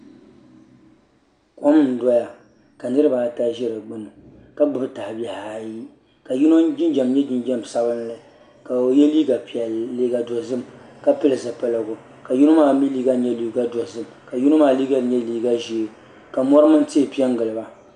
Kom n doya ka niraba ata ʒɛ di gbuni ka gbuni tahabihi ayi ka yino jinjɛm nyɛ jinjɛm sabinli kao yɛ liiga dozim ka pili zipiligu ka yino maa mii liiga nyɛ liiga dozim ka yino maa liiga nyɛ liiga ʒiɛ ka mori mini tihi piɛ n giliba